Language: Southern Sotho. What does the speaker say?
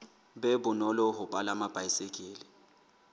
be bonolo ho palama baesekele